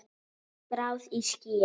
Skráð í skýin.